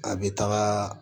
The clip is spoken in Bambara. A bɛ taga